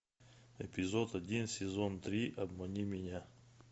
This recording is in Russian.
эпизод один сезон три обмани меня